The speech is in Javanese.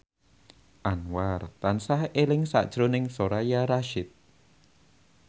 Anwar tansah eling sakjroning Soraya Rasyid